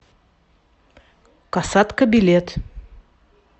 касатка билет